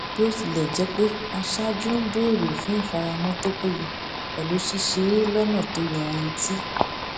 bí ó tilẹ jẹ pé aṣáájú ń béèrè fún ìfaramọ tó péye pẹlú ṣíṣe é lọnà tó yanrantí